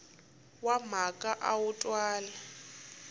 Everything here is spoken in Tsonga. wa mhaka a wu twali